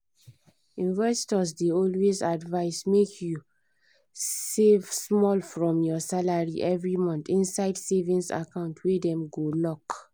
investors dey always advise make you save small from your salary every month inside savings account wey dem go lock